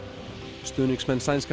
stuðningsmenn sænska